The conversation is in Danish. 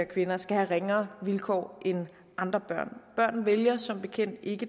kvinder skal have ringere vilkår end andre børn børn vælger som bekendt ikke